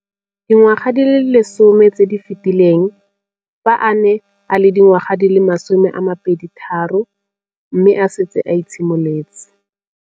Dingwaga di le 10 tse di fetileng, fa a ne a le dingwaga di le 23 mme a setse a itshimoletse